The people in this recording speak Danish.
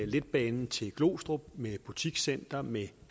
letbanen til glostrup med butikscenter med